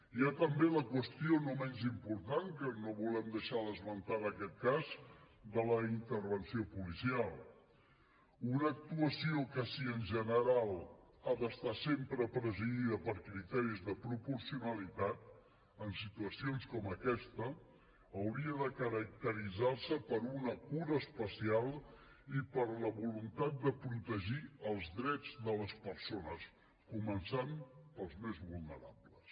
hi ha també la qüestió no menys important que no volem deixar d’esmentar en aquest cas de la intervenció policial una actuació que si en general ha d’estar sempre presidida per criteris de proporcionalitat en situacions com aquesta hauria de caracteritzar se per una cura especial i per la voluntat de protegir els drets de les persones començant per als més vulnerables